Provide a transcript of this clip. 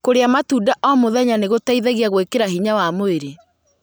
Kũrĩa matunda o mũthenya nĩ gũteithagia gwĩkĩra hinya wa mwĩrĩ..